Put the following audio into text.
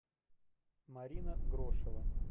марина грошева